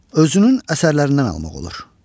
Özünün əsərlərindən almaq olar.